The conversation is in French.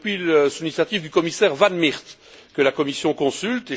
Depuis l'initiative du commissaire Van Miert, la Commission consulte.